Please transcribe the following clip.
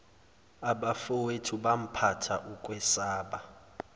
abafowethu phampatha ukwesaba